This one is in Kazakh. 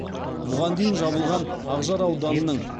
бұған дейін жабылған ақжар ауданының